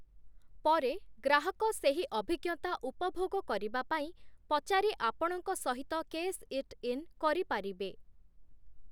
ପରେ, ଗ୍ରାହକ ସେହି ଅଭିଜ୍ଞତା ଉପଭୋଗ କରିବା ପାଇଁ ପଚାରି ଆପଣଙ୍କ ସହିତ 'କେଶ୍-ଇଟ୍-ଇନ୍' କରିପାରିବେ ।